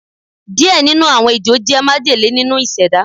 Diẹ ninu awọn Ejo jẹ majele ninu iseda